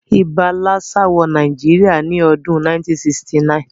Ibà lassa wo Naijiria ni odún 1969